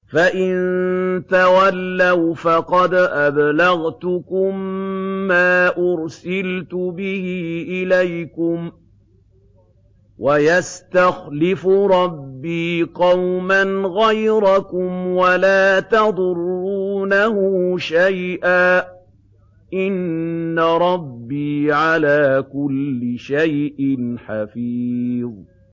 فَإِن تَوَلَّوْا فَقَدْ أَبْلَغْتُكُم مَّا أُرْسِلْتُ بِهِ إِلَيْكُمْ ۚ وَيَسْتَخْلِفُ رَبِّي قَوْمًا غَيْرَكُمْ وَلَا تَضُرُّونَهُ شَيْئًا ۚ إِنَّ رَبِّي عَلَىٰ كُلِّ شَيْءٍ حَفِيظٌ